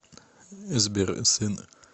сбер сын